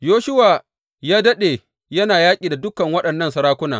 Yoshuwa ya daɗe yana yaƙi da dukan waɗannan sarakuna.